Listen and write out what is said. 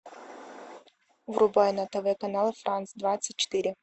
врубай на тв канал франс двадцать четыре